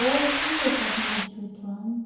Hoje ele está com vinte e oito ano.